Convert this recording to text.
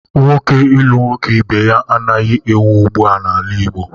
Nwoke ilu nwoke ibe ya anaghị ewu ụgbụa n'ala Igbo.